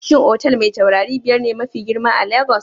Shin otal Mai tauraru biyar ne mafi girma a Lagos?